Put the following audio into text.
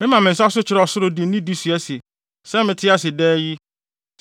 Mema me nsa so kyerɛ ɔsoro de nidi sua sɛ: Sɛ mete ase daa yi,